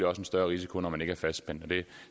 også en større risiko når man ikke er fastspændt det